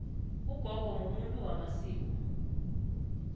ugogo mumuntu wamasiko